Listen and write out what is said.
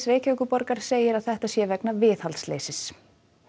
Reykjavíkurborgar segir að þetta sé vegna viðhaldsleysis